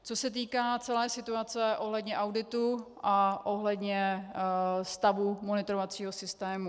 Co se týká celé situace ohledně auditu a ohledně stavu monitorovacího systému.